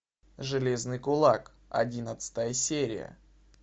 железный кулак одиннадцатая серия